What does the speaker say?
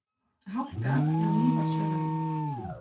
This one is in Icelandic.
Hálka er á Mývatnsöræfum